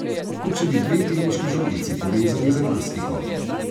Kot če bi dve teniški žogici povezali z elastiko.